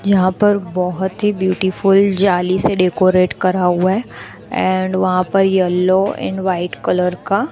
यहां पर बहोत ही ब्यूटीफुल जाली से डेकोरेट करा हुआ है एंड वहां पर येलो एंड व्हाइट कलर का--